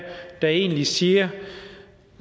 der egentlig siger at